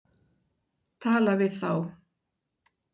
Tala við þá.